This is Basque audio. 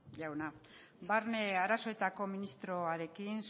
jauna barne arazoetako ministroarekin